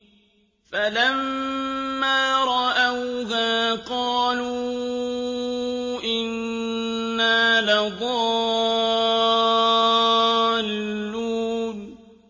فَلَمَّا رَأَوْهَا قَالُوا إِنَّا لَضَالُّونَ